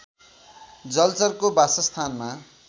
जलचरको बासस्थानमा